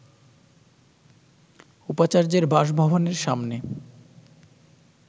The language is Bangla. উপাচার্যের বাসভবনের সামনে